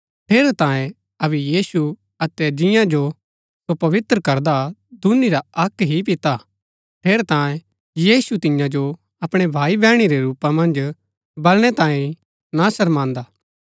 ठेरैतांये अबै यीशु अतै जियां जो सो पवित्र करदा हा दूनी रा अक्क ही पिता हा ठेरैतांये यीशु तियां जो अपणै भाई बैहणी रै रूपा मन्ज बलणै तांये ना शर्मान्दा